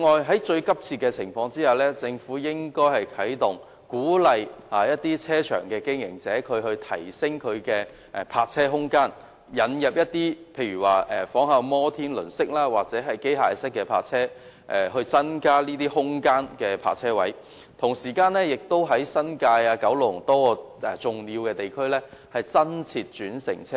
此外，當情況嚴峻時，政府應該鼓勵車場經營者提升泊車空間，例如仿效摩天輪式或機械式的泊車方法，以增加泊車位，以及在新界和九龍多個重要地區增設轉乘車位。